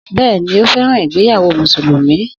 Bẹ́ẹ̀ni, ó fẹ́ràn ìgbéyàwó Mùsùlùmí